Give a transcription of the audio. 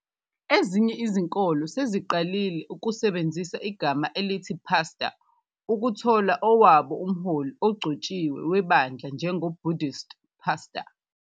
Ezinye izinkolo seziqalile ukusebenzisa igama elithi Pastor ukuthola owabo umholi ogcotshiwe webandla njengo "Buddhist pastor".